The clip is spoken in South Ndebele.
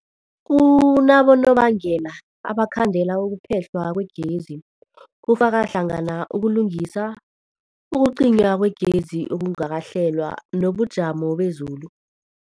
Kunabonobangela abangakhandela ukuphehlwa kwegezi, kufaka hlangana ukulungisa, ukucinywa kwegezi okungakahlelwa, nobujamo bezulu.